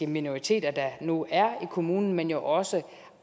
minoriteter der nu er i kommunen men jo også